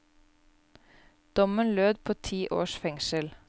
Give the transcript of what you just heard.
Dommen lød på ti års fengsel.